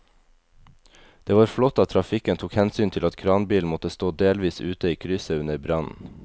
Det var flott at trafikken tok hensyn til at kranbilen måtte stå delvis ute i krysset under brannen.